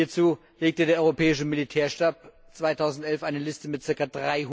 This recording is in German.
Hierzu legte der Europäische Militärstab 2011 eine Liste mit ca.